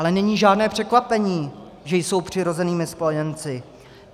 Ale není žádné překvapení, že jsou přirozenými spojenci.